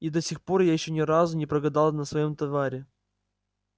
и до сих пор я ещё ни разу не прогадал на своём товаре